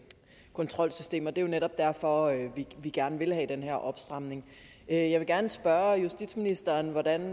kontrolsystem og det er jo netop derfor vi gerne vil have den her opstramning jeg vil gerne spørge justitsministeren hvordan